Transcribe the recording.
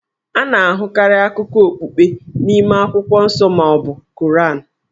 A na-ahụkarị akụkọ okpukpe n'ime akwụkwọ nsọ ma ọ bụ Koran.